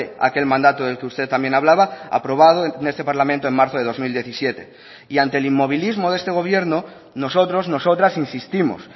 aquel mandato del que usted también hablaba aprobado en este parlamento en marzo de dos mil diecisiete y ante el inmovilismo de este gobierno nosotros nosotras insistimos